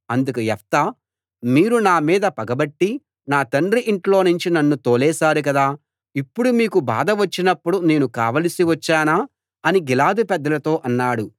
అందుకు యెఫ్తా మీరు నా మీద పగపట్టి నా తండ్రి ఇంట్లోనుంచి నన్ను తోలేశారు కదా ఇప్పుడు మీకు బాధ వచ్చినప్పుడు నేను కావలసి వచ్చానా అని గిలాదు పెద్దలతో అన్నాడు